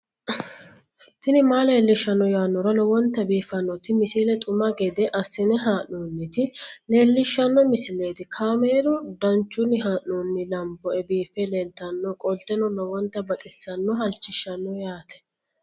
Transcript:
tini maa leelishshanno yaannohura lowonta biiffanota misile xuma gede assine haa'noonnita leellishshanno misileeti kaameru danchunni haa'noonni lamboe biiffe leeeltannoqolten lowonta baxissannoe halchishshanno yaate